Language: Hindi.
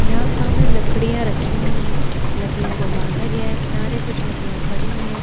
यहाँ सामने लकड़ियाँ रखी हुई है। लकड़ियों को बांधा गया है। किनारे कुछ लकड़ियां खड़ी हैं।